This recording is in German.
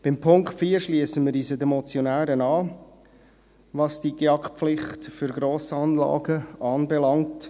Beim Punkt 4 schliessen wir uns den Motionären an, was die GEAK-Pflicht für Grossanlagen anbelangt.